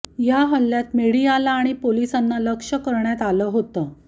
या हल्ल्यात मीडियाला आणि पोलिसांना लक्ष्य करण्यात आलं होतं